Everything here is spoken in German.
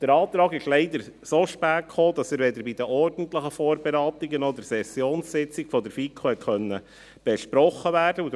Der Antrag kam leider so spät, dass er weder bei der ordentlichen Vorberatung noch an der Sessionssitzung der FiKo besprochen werden konnte.